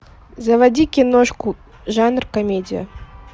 заводи киношку жанр комедия